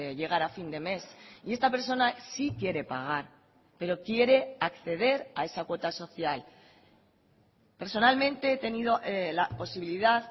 llegar a fin de mes y esta persona sí quiere pagar pero quiere acceder a esa cuota social personalmente he tenido la posibilidad